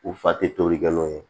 U fa tɛ tobilikɛ n'o ye